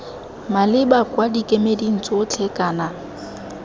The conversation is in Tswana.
maleba kwa dikemeding tsotlhe kana